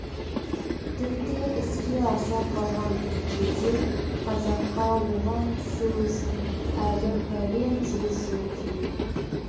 тіпті іске аса қалған күнде де қазаққа оған түсу үшін әлі пәлен жүз жыл керек